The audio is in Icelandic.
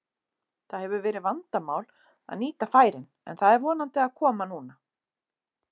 Það hefur verið vandamál að nýta færin en það er vonandi að koma núna.